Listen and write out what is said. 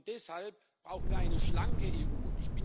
Deshalb brauchen wir eine schlanke EU.